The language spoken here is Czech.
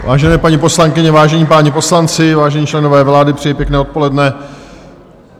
Vážené paní poslankyně, vážení páni poslanci, vážení členové vlády, přeji pěkné odpoledne.